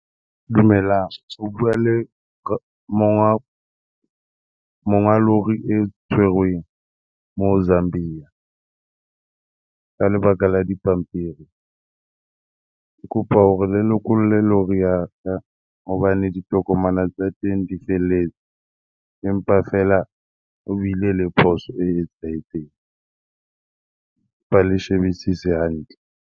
Dumelang. O bua le monga lori e tshwerweng moo Zambia ka lebaka la dipampiri. Ke kopa hore le lokolle lori ya ka hobane ditokomane tsa teng di felletse, empa fela ho bile le phoso e etsahetseng. Kopa le shebisise hantle.